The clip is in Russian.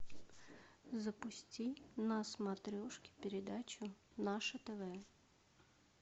запусти на смотрешке передачу наше тв